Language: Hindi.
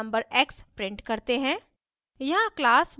यहाँ हम number x print करते हैं